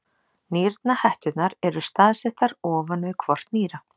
Nýrnahetturnar eru staðsettar ofan við hvort nýra.